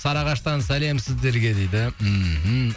сарыағаштан сәлем сіздерге дейді мхм